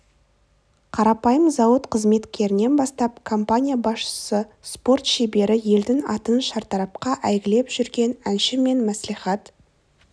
қарапайым зауыт қызметкерінен бастап компания басшысы спорт шебері елдің атын шартарапқа әйгілеп жүрген әнші мен мәслихат